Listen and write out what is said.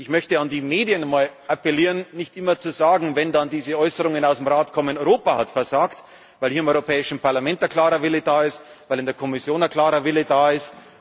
Ich möchte an die Medien appellieren, nicht immer zu sagen wenn dann diese Äußerungen aus dem Rat kommen Europa hat versagt, weil hier im Europäischen Parlament ein klarer Wille da ist, weil in der Kommission ein klarer Wille da